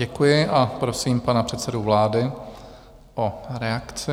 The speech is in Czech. Děkuji a prosím pana předsedu vlády o reakci.